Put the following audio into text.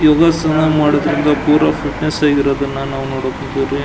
ಯೋಗಾಸನ ಮಾಡೋದ್ರಿಂದ ಪುರ ಫಿಟ್ನೆಸ್ ಆ ಗಿರೋದನ್ನ ನಾವು ನೋಡಕ್ ಹೊಂಟಿವ್ ರೀ.